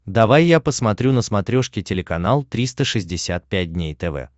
давай я посмотрю на смотрешке телеканал триста шестьдесят пять дней тв